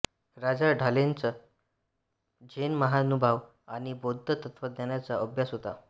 राजा ढालेंचा झेन महानुभाव आणि बौद्ध तत्त्वज्ञानाचा अभ्यास होता